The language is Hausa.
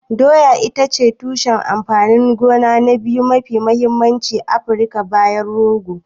Doya ita ce tushen amfanin gona na biyu mafi mahimmanci a Afirka bayan rogo.